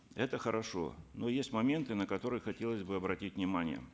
это хорошо но есть моменты на которые хотелось бы обратить внимание